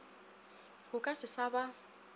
go ka se sa ba